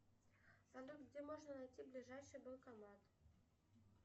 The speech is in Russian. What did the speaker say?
салют где можно найти ближайший банкомат